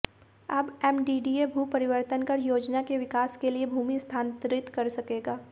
अब एमडीडीए भू परिवर्तन कर योजना के विकास के लिए भूमि स्थानांतरित कर सकेगा